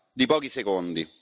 di pochi secondi.